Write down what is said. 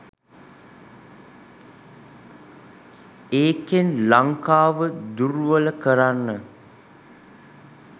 ඒකෙන් ලංකාව දුර්වල කරන්න